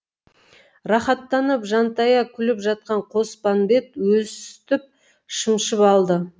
рахаттанып жантая күліп жатқан қоспанбет өстіп шымшып алды